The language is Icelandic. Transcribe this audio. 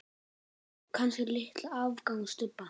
Kannski litla afgangs stubba.